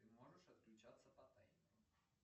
ты можешь отключаться по таймеру